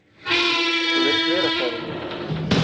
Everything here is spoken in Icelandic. Svo virðist vera, sagði ég.